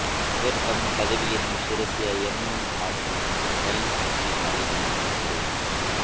ಇವರು ತಮ್ಮ ಪದವಿಯನ್ನು ಶಿರಸಿಯ ಎಂಎಂ ಆರ್ಟ್ಸ್ ಮತ್ತು ಸೈನ್ಸ್ ಪದವಿ ಕಾಲೆಜಿನಲ್ಲಿ ಪಡೆದರು